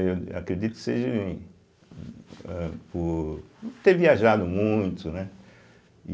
Eu acredito que seja âh por ter viajado muito, né?